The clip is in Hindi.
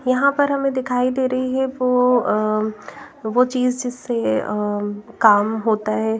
यहाँ पर हमें दिखाई दे रही है वो अम्म वो चीज़ जिससे अम्म काम होता है।